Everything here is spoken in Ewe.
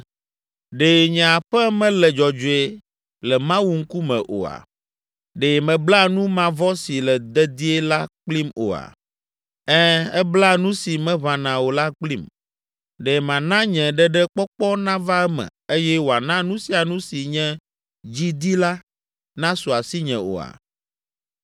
“Ɖe nye aƒe mele dzɔdzɔe le Mawu ŋkume oa? Ɖe mebla nu mavɔ si le dedie la kplim oa? Ɛ̃, ebla nu si meʋãna o la kplim. Ɖe mana nye ɖeɖekpɔkpɔ nava eme eye wòana nu sia nu si nye dzi di la, nasu asinye oa?